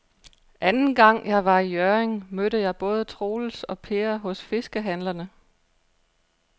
Anden gang jeg var i Hjørring, mødte jeg både Troels og Per hos fiskehandlerne.